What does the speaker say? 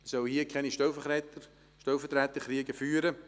Wir sollten hier keine Stellvertreterkriege führen.